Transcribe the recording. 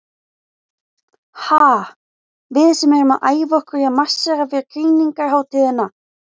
Ha, við sem erum að æfa okkur í að marsera fyrir krýningarhátíðina.